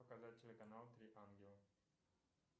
показать телеканал три ангела